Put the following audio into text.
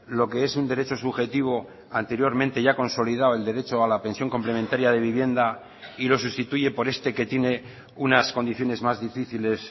lo que es un derecho subjetivo anteriormente ya consolidado el derecho a la pensión complementaria de vivienda y lo sustituye por este que tiene unas condiciones más difíciles